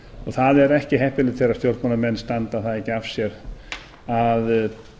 það er ekki heppilegt þegar stjórnmálamenn standa það ekki af sér að